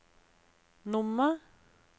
nummer